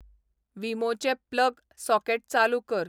वीमोचें plug socket चालू कर